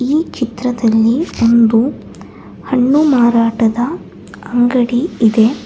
ಈ ಚಿತ್ರದಲ್ಲಿ ಒಂದು ಹಣ್ಣು ಮಾರಾಟದ ಅಂಗಡಿ ಇದೆ.